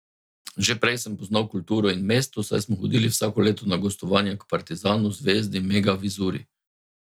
Že prej sem poznal kulturo in mesto, saj smo hodili vsako leto na gostovanja k Partizanu, Zvezdi, Mega Vizuri...